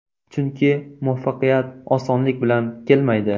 Chunki muvaffaqiyat osonlik bilan kelmaydi.